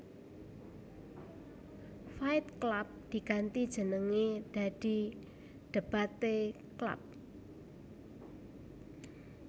Fight Club diganti jenenge dadi Debate Club